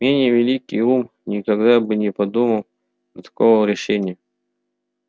менее великий ум никогда бы не подумал до такого решения